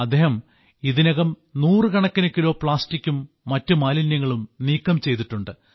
അദ്ദേഹം ഇതിനകം നൂറുകണക്കിന് കിലോ പ്ലാസ്റ്റിക്കും മറ്റു മാലിന്യങ്ങളും നീക്കം ചെയ്തിട്ടുണ്ട്